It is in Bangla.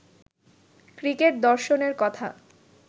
ক্রিকেট দর্শনের কথা